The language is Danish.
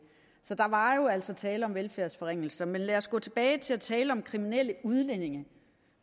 så der var jo altså tale om velfærdsforringelser men lad os gå tilbage til at tale om kriminelle udlændinge